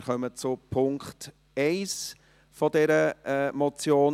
Wir kommen zu Punkt 1 dieser Motion.